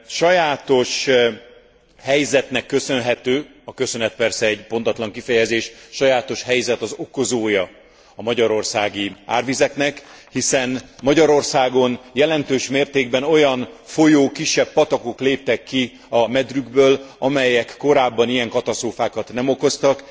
Sajátos helyzetnek köszönhető, a köszönet persze egy pontatlan kifejezés, sajátos helyzet az okozója a magyarországi árvizeknek, hiszen Magyarországon jelentős mértékben olyan folyók, kisebb patakok léptek ki a medrükből, amelyek korábban ilyen katasztrófákat nem okoztak.